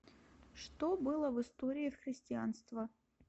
что было в история христианства